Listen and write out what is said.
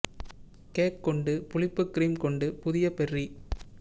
cake கொண்டு புளிப்பு cream கொண்டு புதிய பெர்ரி